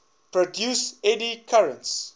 produce eddy currents